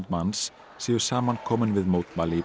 manns séu saman komin við mótmæli í